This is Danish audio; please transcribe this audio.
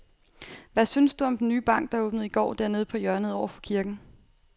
Hvad synes du om den nye bank, der åbnede i går dernede på hjørnet over for kirken?